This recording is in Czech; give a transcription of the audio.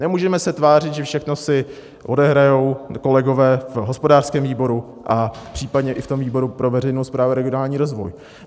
Nemůžeme se tvářit, že všechno si odehrají kolegové v hospodářském výboru a případně i v tom výboru pro veřejnou správu a regionální rozvoj.